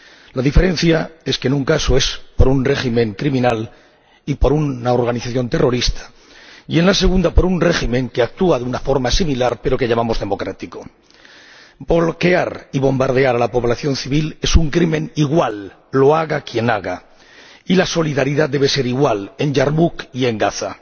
La diferencia es que en un caso es por un régimen criminal y por una organización terrorista y, en el otro, por un régimen que actúa de una forma similar, pero que llamamos democrático. Bloquear y bombardear a la población civil es un crimen igual, lo haga quien lo haga, y la solidaridad debe ser igual en Yarmuk y en Gaza.